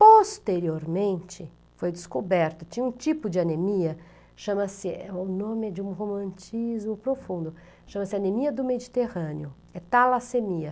Posteriormente, foi descoberto, tinha um tipo de anemia, chama-se, o nome é de um romantismo profundo, chama-se anemia do Mediterrâneo, é talassemia.